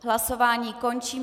Hlasování končím.